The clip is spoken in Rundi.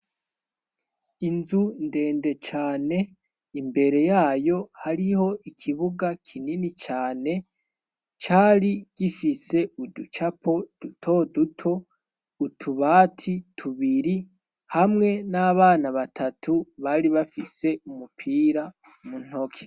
Inzu ndende cane imbere yayo hariho ikibuga kinini cane cari gifise uducapo duto duto utubati tubiri hamwe n'abana batatu bari bafise umupira muntoke.